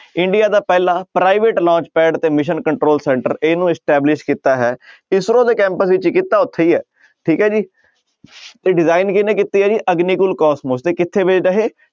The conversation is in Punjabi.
ਇੰਡੀਆ ਦਾ ਪਹਿਲਾ private launch pad ਤੇ mission control centre ਇਹਨੂੰ establish ਕੀਤਾ ਹੈ ਇਸਰੋ ਦੇ ਕੈਂਪ ਵਿੱਚ ਕੀਤਾ ਉੱਥੇ ਹੀ ਹੈ ਠੀਕ ਹੈ ਜੀ ਤੇ design ਕਿਹਨੇ ਕੀਤੀ ਹੈ ਜੀ ਅਗਨੀਕੁਲ ਕੋਸਮੋਸ ਤੇ ਕਿੱਥੇ based ਆ ਇਹ